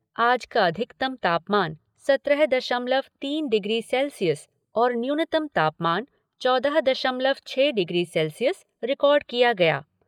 आज का अधिकतम तापमान सत्रह दशमलव तीन डिग्री सेल्सियस और न्यूनतम तापमान चौदह दशमलव छह डिग्री सेल्सियस रिकार्ड किया गया।